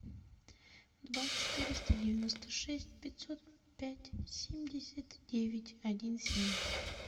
два четыреста девяносто шесть пятьсот пять семьдесят девять один семь